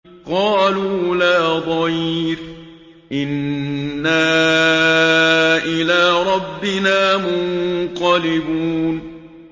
قَالُوا لَا ضَيْرَ ۖ إِنَّا إِلَىٰ رَبِّنَا مُنقَلِبُونَ